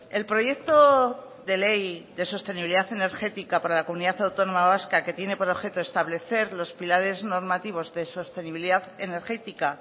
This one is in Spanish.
el proyecto de ley de sostenibilidad energética para la comunidad autónoma vasca que tiene por objeto establecer los pilares normativos de sostenibilidad energética